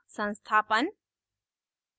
संस्थापन